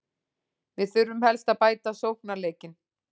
Við þurfum helst að bæta sóknarleikinn.